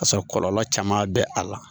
Ka sɔrɔ kɔlɔlɔ caman bɛ a la